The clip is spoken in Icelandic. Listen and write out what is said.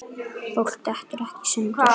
Fólk dettur ekkert í sundur.